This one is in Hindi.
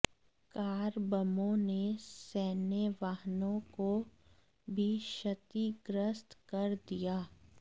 कार बमों ने सैन्य वाहनों को भी क्षतिग्रस्त कर दिया